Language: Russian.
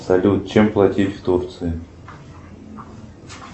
салют чем платить в турции